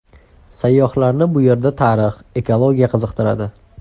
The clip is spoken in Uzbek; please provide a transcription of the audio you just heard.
Sayyohlarni bu yerda tarix, ekologiya qiziqtiradi.